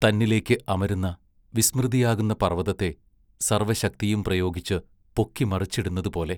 തന്നിലേക്ക് അമരുന്ന വിസ്മൃതിയാകുന്ന പർവ്വതത്തെ സർവ്വശക്തിയും പ്രയോഗിച്ച് പൊക്കി മറിച്ചിടുന്നതുപോലെ......